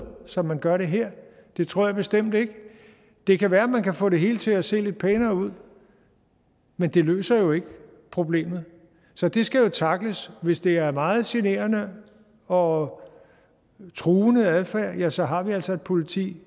som man gør det her det tror jeg bestemt ikke det kan være man kan få det hele til at se lidt pænere ud men det løser jo ikke problemet så det skal tackles hvis det er meget generende og truende adfærd ja så har vi altså et politi